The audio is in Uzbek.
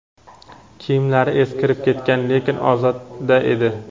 Kiyimlari eskirib ketgan, lekin ozoda edi.